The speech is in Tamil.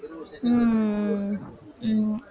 உம் உம்